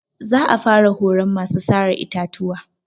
Za a fara horon masu sare itatuwa.